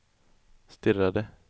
stirrade